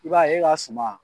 I b'a ye e ka suma